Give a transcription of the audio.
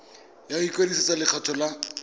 ya go ikwadisetsa lekgetho la